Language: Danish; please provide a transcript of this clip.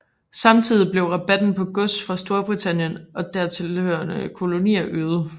Samtidig blev rabatten på gods fra Storbritannien og tilhørende kolonier øget